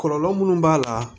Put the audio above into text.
Kɔlɔlɔ minnu b'a la